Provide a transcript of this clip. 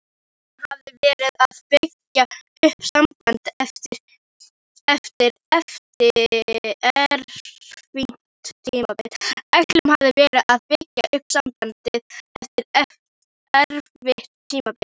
Ætlunin hafði verið að byggja upp sambandið eftir erfitt tímabil.